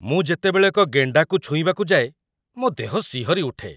ମୁଁ ଯେତେବେଳେ ଏକ ଗେଣ୍ଡାକୁ ଛୁଇଁବାକୁ ଯାଏ, ମୋ ଦେହ ଶିହରି ଉଠେ।